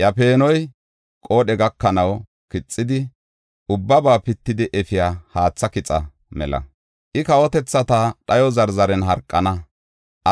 Iya peenoy, qoodhe gakanaw kixidi, ubbaba pittidi efiya haatha kixa mela. I, kawotethata dhayo zarzaren harqana;